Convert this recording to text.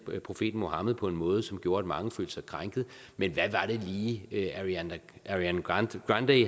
profeten muhammed på en måde som gjorde at mange følte sig krænket men hvad var det lige ariana grande